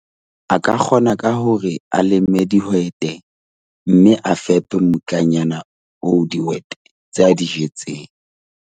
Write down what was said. A ka kgona ka hore a leme dihwete mme a fepe mmutlanyana oo dihwete tse a di jetseng.